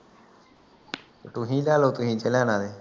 ਤੁਸੀ ਲੈ ਲੋ ਤੁਸੀਂ ਜੇ ਲੈਣਾ